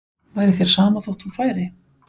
Var þér sama þótt hún færi?